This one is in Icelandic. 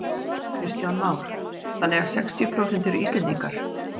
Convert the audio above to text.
Kristján Már: Þannig að sextíu prósent eru Íslendingar?